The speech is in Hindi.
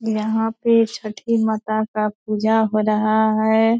यहाँ पे छठी माता का पूजा हो रहा है।